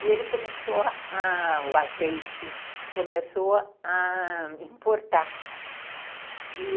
E ele começou a a... o azeite começou a importar, e